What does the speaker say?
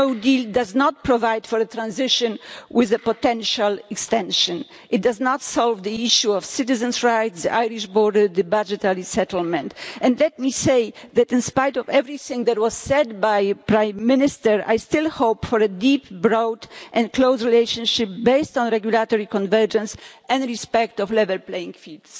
No deal does not provide for a transition with a potential extension, it does not solve the issue of citizens' rights, the Irish border, the budgetary settlement, and let me say that in spite of everything that was said by the Prime Minister, I still hope for a deep, broad and close relationship based on regulatory convergence and respect for a level playing field.